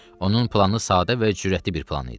Onun planı sadə və cürətli bir plan idi.